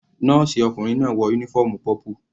Nọ́ọ̀sì ọkùnrin náà wọ uniform purple.